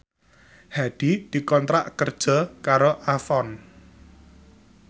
Hadi dikontrak kerja karo Avon